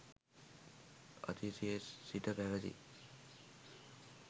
අතීතයේ සිට පැවැති